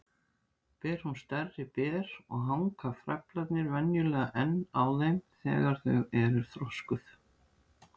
Ber hún stærri ber og hanga frævlarnir venjulega enn á þeim þegar þau eru þroskuð.